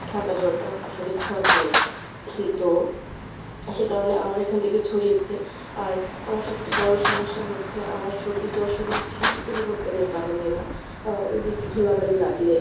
ঠান্ডা জ্বরটা আসলে ছোঁয়াচে রোগ। তো সে কারণে আমার এখান থেকে ছড়িয়েছে। আর আমার সবচেয়ে বড় সমস্যা হচ্ছে আমার সর্দি জ্বর শুধু ঋতু পরিবর্তনের কারণে না আহ ওইযে একটু ধুলাবালি লাগলে